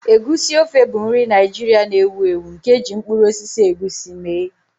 Egusi ofe bụ nri Naijiria na-ewu ewu nke e ji mkpụrụ osisi egusi mee.